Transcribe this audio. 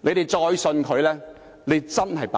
你們再相信他便真的是白癡。